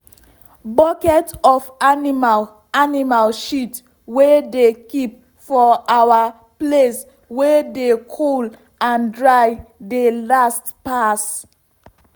bucket of animal animal shit wey dey keep for our place wey dey cool and dry dey last pass.